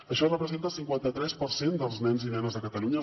això representa el cinquanta tres per cent dels nens i nenes de catalunya